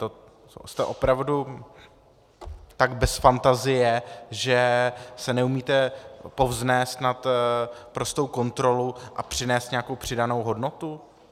To jste opravdu tak bez fantazie, že se neumíte povznést nad prostou kontrolu a přinést nějakou přidanou hodnotu?